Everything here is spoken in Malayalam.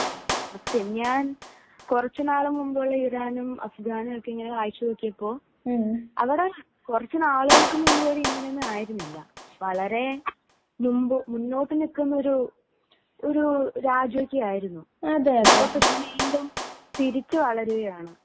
ഞാൻ കുറച്ചു നാലു മുൻപുള്ള ഇറാനും അഫ്ഗാനും വച്ച് നോക്കിയപ്പോൾ അവിടെ കുറച്ചു നാളുകൾക്കു മുന്പ് ഇങ്ങനെ ആയിരുന്നില്ല . വളരെ മുന്നോട്ട് നിൽക്കുന്ന ഒരു രാജ്യമൊക്കെ ആയിരുന്നു . ഇപ്പൊ വീണ്ടും തിരിച്ചു വളരുകയാണ്